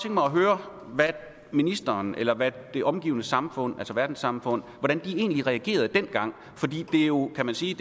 mig at høre hvordan ministeren eller hvordan det omgivende samfund altså verdenssamfundet egentlig reagerede dengang for det er jo kan man sige